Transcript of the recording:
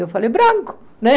Eu falei, branco, né?